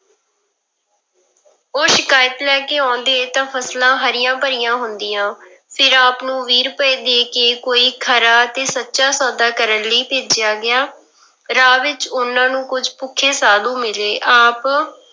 ਉਹ ਸ਼ਿਕਾਇਤ ਲੈ ਕੇ ਆਉਂਦੇ ਤਾਂ ਫਸਲਾਂ ਹਰੀਆਂ ਭਰੀਆਂ ਹੁੰਦੀਆਂ, ਫਿਰ ਆਪ ਨੂੰ ਵੀਹ ਰੁਪਏ ਦੇ ਕੇ ਕੋਈ ਖਰਾ ਤੇ ਸੱਚਾ ਸੌਦਾ ਕਰਨ ਲਈ ਭੇਜਿਆ ਗਿਆ, ਰਾਹ ਵਿੱਚ ਉਹਨਾਂ ਨੂੰ ਕੁੱਝ ਭੁੱਖੇ ਸਾਧੂ ਮਿਲੇ ਆਪ